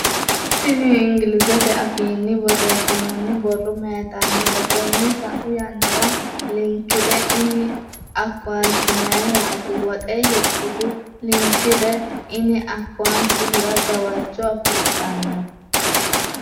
tini ingilizete afiinni borrreessinoonni borro mayiitannote? tenne sau yannara linked in akkawunte mayiiraati woxe hirtuhu? linked in akkawunte hira gawajjo afidhanno?